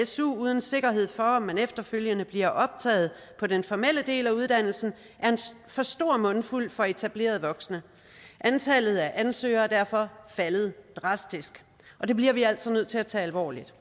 su uden sikkerhed for at man efterfølgende bliver optaget på den formelle del af uddannelsen er for stor en mundfuld for etablerede voksne antallet af ansøgere er derfor faldet drastisk og det bliver vi altså nødt til at tage alvorligt